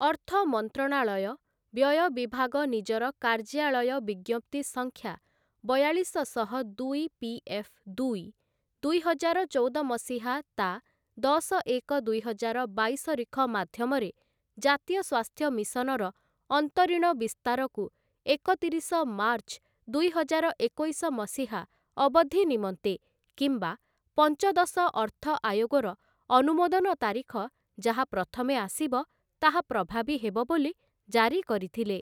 ଅର୍ଥ ମନ୍ତ୍ରଣାଳୟ, ବ୍ୟୟ ବିଭାଗ ନିଜର କାର୍ଯ୍ୟାଳୟ ବିଜ୍ଞପ୍ତି ସଂଖ୍ୟା ବୟାଲିଶଶହ ଦୁଇ ପି.ଏଫ୍. ଦୁଇ, ଦୁଇହଜାର ଚଉଦ ମସିହା ତା' ଦଶ ଏକ ଦୁଇହଜାର ବାଇଶ ରିଖ ମାଧ୍ୟମରେ ଜାତୀୟ ସ୍ୱାସ୍ଥ୍ୟ ମିଶନର ଅନ୍ତରୀଣ ବିସ୍ତାରକୁ ଏକତିରିଶ ମାର୍ଚ୍ଚ ଦୁଇହଜାର ଏକୋଇଶ ମସିହା ଅବଧି ନିମନ୍ତେ କିମ୍ବା ପଞ୍ଚଦଶ ଅର୍ଥ ଆୟୋଗର ଅନୁମୋଦନ ତାରିଖ, ଯାହା ପ୍ରଥମେ ଆସିବ, ତାହା ପ୍ରଭାବୀ ହେବ ବୋଲି ଜାରି କରିଥିଲେ ।